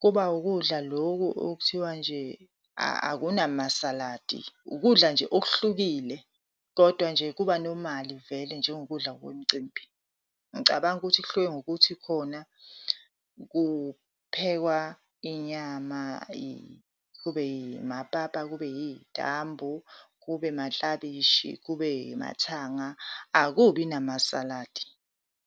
kuba wukudla lokhu okuthiwa nje akunamasaladi, ukudla nje okuhlukile. Kodwa nje kuba normal-i vele njengokudla kwemicimbi. Ngicabanga ukuthi kuhluke ngokuthi khona kuphekwa inyama kube yimapapa, kube yiy'tambu, kube maklabishi, kube yimathanga, akubi namasaladi.